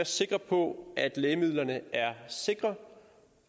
sikre på at lægemidlerne er sikre